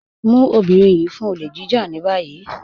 Mú ọbìnrin yìí mú fún òlè jíjà ní bayí.